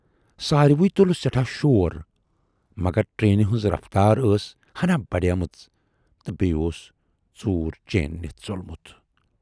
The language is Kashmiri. سارِوٕے تُل سٮ۪ٹھاہ شور مگر ٹرینہٕ ہٕنز رفتار ٲس ہنا بڈیمٕژ تہٕ بییہِ اوس ژوٗر چین نِتھ ژولمُت۔